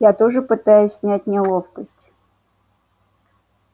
я тоже пытаюсь снять неловкость